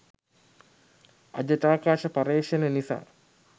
අජටාකාශ පර්යේෂණ නිසා